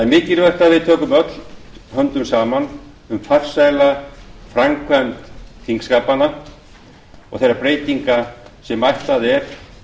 mikilvægt að við tökum öll höndum saman um farsæla framkvæmd þingskapanna og þeirra breytinga sem ætlað er